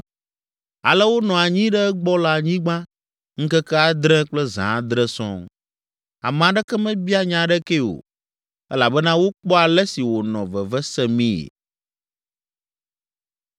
Ale wonɔ anyi ɖe egbɔ le anyigba ŋkeke adre kple zã adre sɔŋ. Ame aɖeke mebia nya aɖekee o elabena wokpɔ ale si wònɔ veve semii.